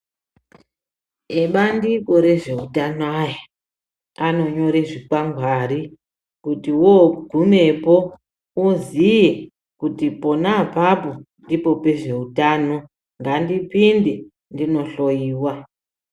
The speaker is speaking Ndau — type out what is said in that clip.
Ebandiko rezveutano aya, anonyore zvikwangwari, kuti wogumepo uziye kuti pona apapo ndipo pezveutano, ngandipinde ndindohloyiwa.